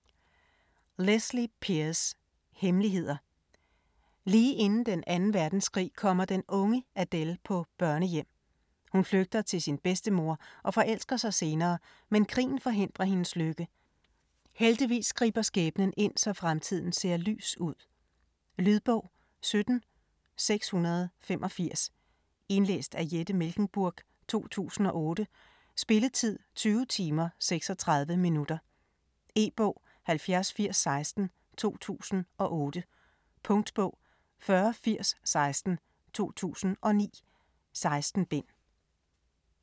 Pearse, Lesley: Hemmeligheder Lige inden den 2. verdenskrig kommer den unge Adele på børnehjem. Hun flygter til sin bedstemor, og forelsker sig senere, men krigen forhindrer hendes lykke. Heldigvis griber skæbnen ind, så fremtiden ser lys ud... Lydbog 17685 Indlæst af Jette Mechlenburg, 2008. Spilletid: 20 timer, 36 minutter. E-bog 708016 2008. Punktbog 408016 2009. 16 bind.